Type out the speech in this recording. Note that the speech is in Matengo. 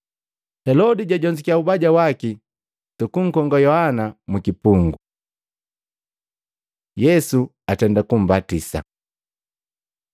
Helodi jajonzukiya ubaja waki sunkukonga Yohana mkipungu. Yesu atenda kumbatisa Matei 3:13-17; Maluko 1:9-11